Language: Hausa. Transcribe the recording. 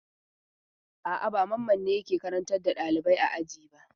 A'a, ba Mamman ne yake karantar da ɗalibai a aji ba.